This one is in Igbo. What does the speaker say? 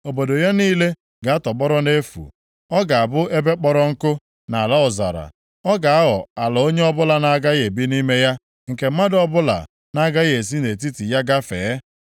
Obodo ya niile ga-atọgbọrọ nʼefu, ọ ga-abụ ebe kpọrọ nkụ, na ala ọzara, ọ ga-aghọ ala onye ọbụla na-agaghị ebi nʼime ya, nke mmadụ ọbụla na-agaghị esi nʼetiti ya gafee.